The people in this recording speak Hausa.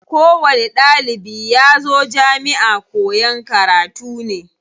Ko wani ɗalibi yazo jamiʼa koyan karatu ne.